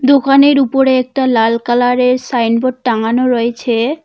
দুকানের উপরে একটা লাল কালারের সাইনবোর্ড টাঙানো রয়েছে।